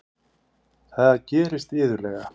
Það gerist iðulega.